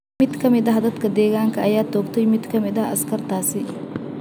Mid kamid ah dadka deegaanka ayaa toogtay mid kamid ah askartaasi.